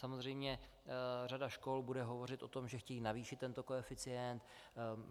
Samozřejmě řada škol bude hovořit o tom, že chtějí navýšit tento koeficient.